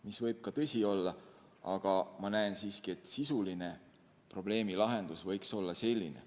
See võib ka tõsi olla, aga ma näen, et sisuline probleemilahendus võiks olla selline.